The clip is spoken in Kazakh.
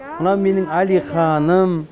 мынау менің алиханым